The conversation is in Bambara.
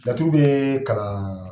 Laturu be kalan